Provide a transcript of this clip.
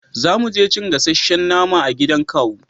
za muje cin gasashen nama a gidan kawu